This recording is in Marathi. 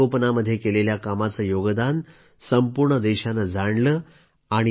त्यांनी वृक्षसंगोपनामध्ये केलेल्या कामाचं योगदान संपूर्ण देशानं जाणलं